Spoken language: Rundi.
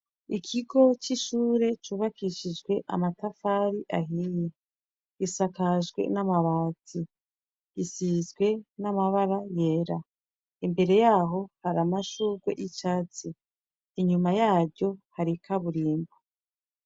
Ikigo c'ishure cubakishijwe amatafari ahiye, gisakajee n'amabati .sizwe n'amabara yera. Imbere yaho har'amashurwe y'icatsi, inyuma yaryo har'ikaburimbi.